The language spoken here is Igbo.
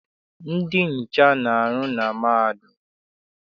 Ndị nhicha na-arụ na mahadum.